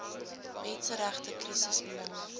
menseregte krisis maar